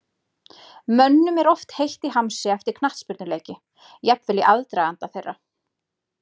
Mönnum er oft heitt í hamsi eftir knattspyrnuleiki, jafnvel í aðdraganda þeirra.